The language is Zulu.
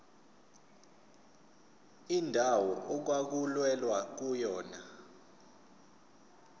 indawo okwakulwelwa kuyona